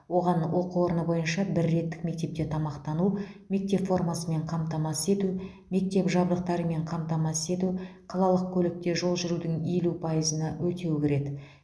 оған оқу орны бойынша бір реттік мектепте тамақтану мектеп формасымен қамтамасыз ету мектеп жабдықтарымен қамтамасыз ету қалалық көлікте жол жүрудің елу пайызына өтеу кіреді